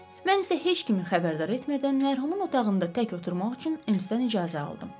Mən isə heç kimi xəbərdar etmədən mərhumun otağında tək oturmaq üçün Emssdən icazə aldım.